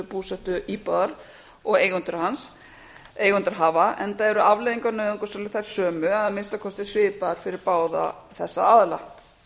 búsetuíbúð og eigendur hafa enda eru afleiðingar nauðungarsölu þær sömu eða að minnsta kosti svipaðar fyrir báða þessa aðila